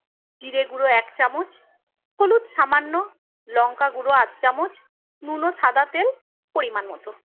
জিরে গুঁড়ো এক চামচ, হলুদ সামান্য, লঙ্কাগুঁড়ো আধ চামচ, নুন ও সাদা তেল পরিমান মতো।